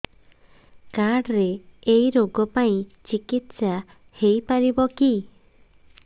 card ରେ ଏଇ ରୋଗ ପାଇଁ ଚିକିତ୍ସା ହେଇପାରିବ କି